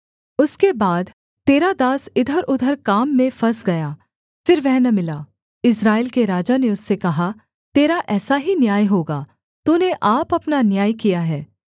उसके बाद तेरा दास इधरउधर काम में फँस गया फिर वह न मिला इस्राएल के राजा ने उससे कहा तेरा ऐसा ही न्याय होगा तूने आप अपना न्याय किया है